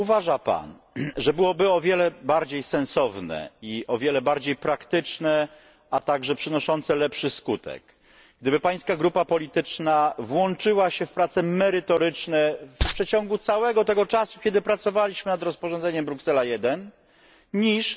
Czy nie uważa Pan, że o wiele bardziej sensowne i praktyczne, a także przynoszące lepszy skutek byłoby, gdyby Pana grupa polityczna włączyła się w prace merytoryczne w przeciągu całego czasu, kiedy pracowaliśmy nad rozporządzeniem Bruksela 1, niż